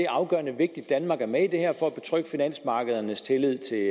afgørende vigtigt at danmark er med i det her for at betrygge finansmarkedernes tillid til